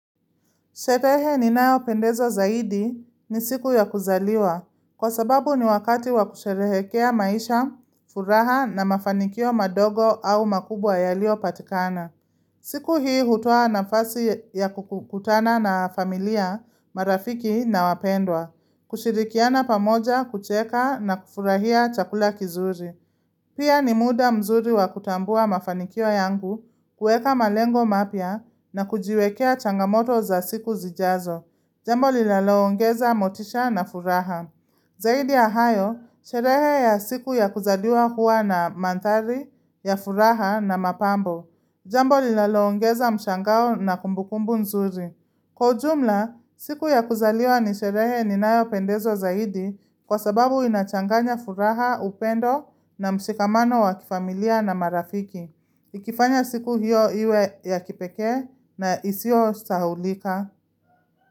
Sherehe ninayopendezwa zaidi ni siku ya kuzaliwa kwa sababu ni wakati wa kusherehekea maisha, furaha na mafanikio madogo au makubwa yaliyopatikana. Siku hii hutoa nafasi ya kukutana na familia, marafiki na wapendwa, kushirikiana pamoja, kucheka na kufurahia chakula kizuri. Pia ni muda mzuri wa kutambua mafanikio yangu kuweka malengo mapya na kujiwekea changamoto za siku zijazo. Jambo linaloongeza motisha na furaha. Zaidi ya hayo, sherehe ya siku ya kuzaliwa huwa na mandhari ya furaha na mapambo. Jambo linaloongeza mshangao na kumbukumbu nzuri. Kwa ujumla, siku ya kuzaliwa ni sherehe ninayopendezwa zaidi kwa sababu inachanganya furaha, upendo na mshikamano wa kifamilia na marafiki. Ikifanya siku hiyo iwe ya kipekee na isiyosahaulika.